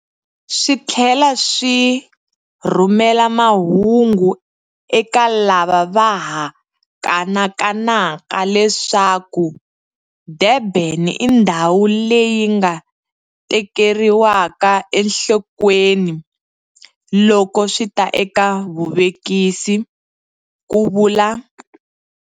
Swi tlhela swi rhumela mahungu eka lava va ha kanakanaka leswaku Durban i ndhawu leyi nga tekeriwaka enhlokweni loko swi ta eka vuvekisi, ku vula